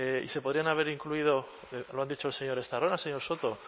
y se podrían haber incluido lo han dicho el señor estarrona el señor soto